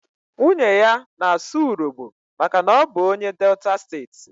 Nwunye ya na-asụ urhobo maka na ọ bụ onye Delta steeti.